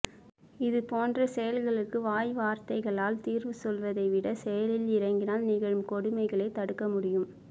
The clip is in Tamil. இது போன்ற செயல்களுக்கு வாய் வார்த்தைகளால் தீர்வு சொல்வதை விட செயலில் இறங்கினால் நிகழும் கொடுமைகளை தடுக்க முடியும்